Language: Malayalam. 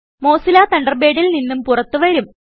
മോസില്ല തണ്ടർബേഡിൽ നിന്നും പുറത്ത് വരും